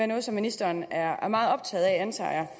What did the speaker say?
noget som ministeren er meget optaget af antager